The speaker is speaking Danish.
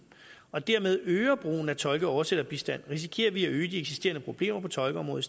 og dermed øger brugen af tolke og oversætterbistand risikerer vi at øge de eksisterende problemer på tolkeområdet